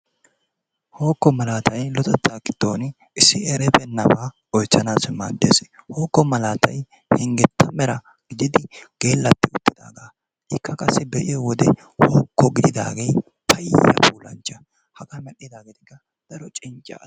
Hookko malatay luxxettaa gidon issi eribeenabaa oychchanassi maaddes. Hookko malatay hingetta mera gididi geelattidaagaa ikka qassi be'iiyowode hookko gididaagee payya eranchcha hagaaa medhdhidaageetikka daro cincca.